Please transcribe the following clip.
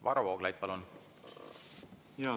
Varro Vooglaid, palun!